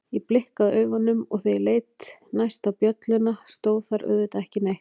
Ég blikkaði augunum og þegar ég leit næst á bjölluna stóð þar auðvitað ekki neitt.